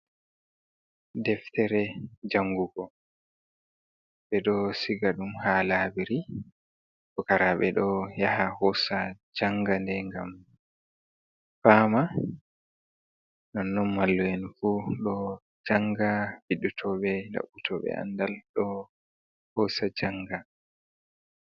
Deftere jangugo ɓe ɗo siga ɗum ha labiri pukaraɓe ɗo yaha hosa janga nde gam fama nonnon mallu'en fu ɗo janga bindu toɓe, ɗaɓɓi tobe andal ɗo hosa janga.